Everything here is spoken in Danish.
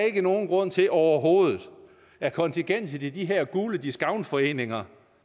ikke er nogen grund til overhovedet at kontingentet til de her gule discountforeninger